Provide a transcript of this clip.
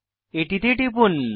এটিতে টিপুন